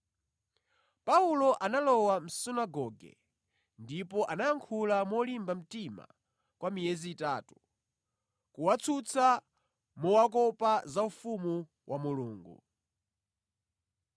Paulo analowa mʼsunagoge ndipo anayankhula molimba mtima kwa miyezi itatu, kuwatsutsa mowakopa za ufumu wa Mulungu.